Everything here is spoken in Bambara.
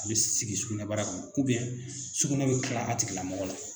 A bɛ sigi sugunɛ bara kɔnɔ sugunɛ bɛ kilan a tigila mɔgɔ la.